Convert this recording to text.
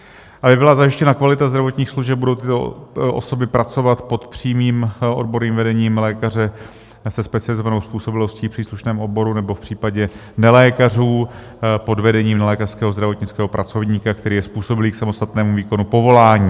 Aby byla zajištěna kvalita zdravotních služeb, budou tyto osoby pracovat pod přímým odborným vedením lékaře se specializovanou způsobilostí v příslušném oboru, nebo v případě nelékařů pod vedením nelékařského zdravotnického pracovníka, který je způsobilý k samostatnému výkonu povolání.